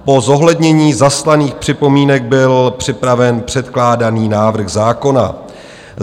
Po zohlednění zaslaných připomínek byl připraven předkládaný návrh zákona.